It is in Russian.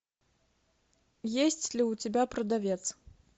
есть ли у тебя продавец